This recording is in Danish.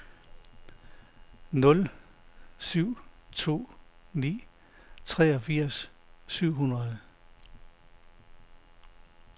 nul syv to ni treogfirs syv hundrede